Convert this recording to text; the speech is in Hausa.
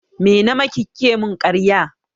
Me namaki kike mun ƙarya?